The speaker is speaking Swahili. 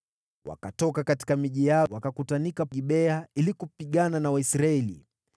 Wakatoka katika miji yao, wakakutanika Gibea ili kupigana na Waisraeli.